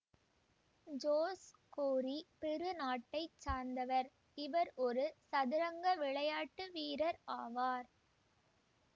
George Cori Peru நாட்டை சார்ந்தவர் இவர் ஒரு சதுரங்க விளையாட்டு வீரர் ஆவார்